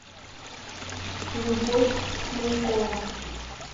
любовь минькова